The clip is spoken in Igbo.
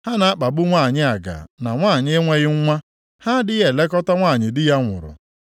Ha na-akpagbu nwanyị aga na nwanyị na-enweghị nwa, ha adịghị elekọta nwanyị di ya nwụrụ.